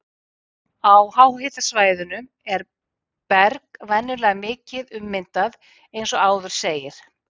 Á háhitasvæðunum er berg venjulega mikið ummyndað eins og áður segir.